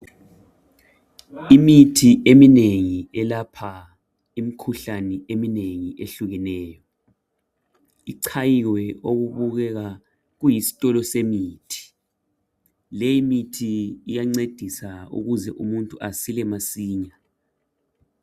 imithi eminengi elapha imikhuhlane eminengi ehlukeneyo ichayiwe okubukeka kuyisitolo semithi. Leyimithi iyancedisa ukuze umuntu asile masinya.